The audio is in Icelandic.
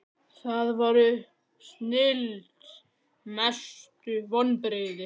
það var snilld Mestu vonbrigði?